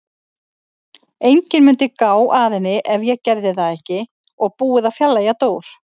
Enginn mundi gá að henni ef ég gerði það ekki og búið að fjarlægja Dór.